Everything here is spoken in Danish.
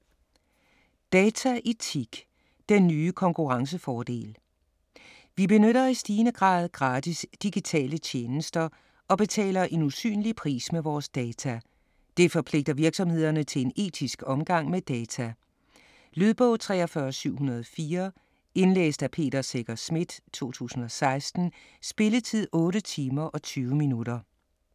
Dataetik - den nye konkurrencefordel Vi benytter i stigende grad gratis digitale tjenester og betaler en usynlig pris med vores data. Det forpligter virksomhederne til en etisk omgang med data. Lydbog 43704 Indlæst af Peter Secher Schmidt, 2016. Spilletid: 8 timer, 20 minutter.